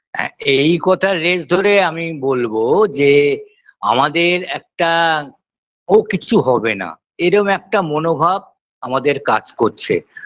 হ্যাঁ এই কথার রেশ ধরে আমি বলবো যে আমাদের একটা ও কিচ্ছু হবে না এরম একটা মনোভাব আমাদের কাজ করছে